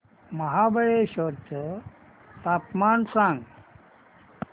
महाबळेश्वर चं तापमान सांग